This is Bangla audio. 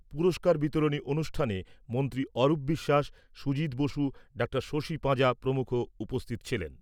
পুরস্কার বিতরণী অনুষ্ঠানে মন্ত্রী অরূপ বিশ্বাস, সুজিত বসু, ডাঃ শশী পাঁজা প্রমুখ উপস্থিত ছিলেন।